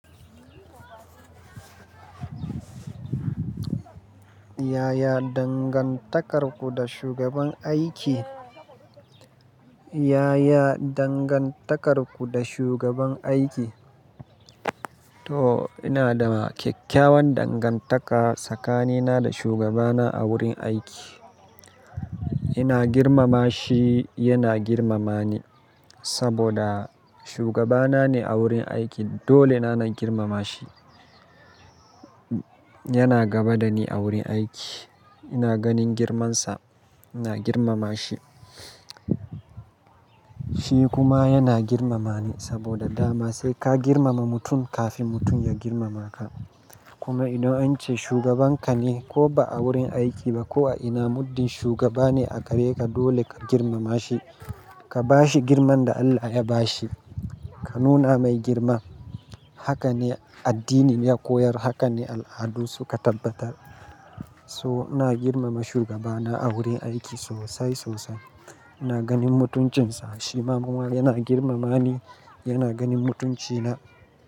Yaya dangantakarku da shugaban aiki? Yaya dangantakarku da shugaban aiki? To ina da kyakkyawan dangantaka tsakanina da shugabana a wurin aiki. Ina girmama shi, yana girmama ni saboda shugabana ne a wurin aiki dole na girmama shi. Yana gaba da ni a wurin aiki. Ina ganin girmansa, ina girmama shi. Shi kuma yana girmama ni saboda dama sai ka girmama mutum kafin mutum ya girmama ka. Kuma idan ance shugabanka ne ko ba a wurin aiki ba ko a ina muddin shugaba ne a gare ka dole ka girmama shi. Ka ba shi girman da Allah ya ba shi. Ka nuna mai girma. Haka ne addini ya koyar, haka ne al'adu suka tabbatar. So ina girmama shugabana a wurin aiki sosai sosai. Ina ganin mutuncinsa. Shi ma kuma yana girmama ni, yana ganin mutunci na.